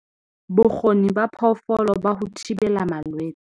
Bokgoni ba phoofolo ba ho thibela malwetse.